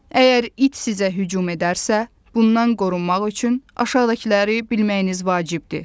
Əgər it sizə hücum edərsə, bundan qorunmaq üçün aşağıdakıları bilməyiniz vacibdir.